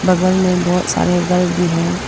बगल मे बहोत सारे घर भी हैं।